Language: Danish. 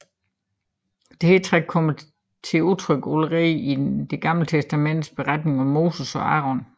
Dette træk kommer til udtryk allerede i det gamle testamentes beretning om Moses og Aron